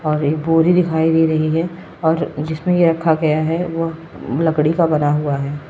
और ये बोरी दिखाई दे रही है और जिसमें यह रखा गया है वो लकड़ी का बना हुआ है।